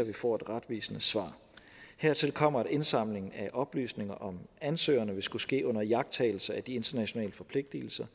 at vi får et retvisende svar hertil kommer at indsamling af oplysninger om ansøgerne vil skulle ske under iagttagelse af de internationale forpligtelser